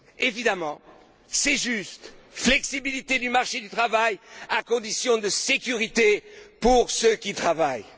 Évidemment, c'est juste flexibilité du marché du travail dans des conditions de sécurité pour ceux qui travaillent.